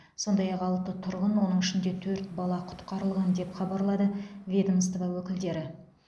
сондай ақ алты тұрғын оның ішінде төрт бала құтқарылған деп хабарлады ведомство өкілдері